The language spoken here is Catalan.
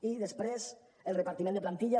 i després el repartiment de plantilla